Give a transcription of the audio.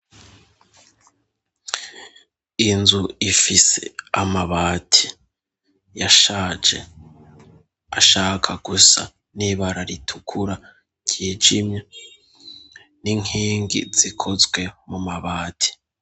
Inzu ifise amabati yashaje ashaka gusa nibara ritukura ryijimye n'inkingi zikozwe mu mabati.